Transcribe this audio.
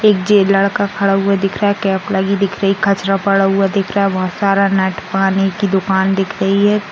एक जेलर का खड़ा हुआ दिख रहा है कचरा पड़ा हुआ दिख रहा है बहुत सारा नट पानी की दूकान दिख रही है ।